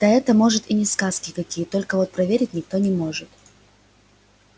да это может и не сказки какие только вот проверить никто не может